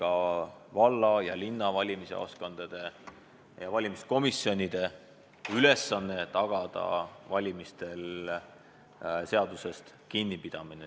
Samamoodi on see ka valla ja linna valimisjaoskondade ja valimiskomisjonide ülesanne.